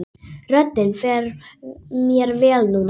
Röddin fer mér vel núna.